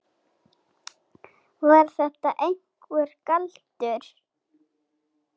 Var þetta einhver galdur?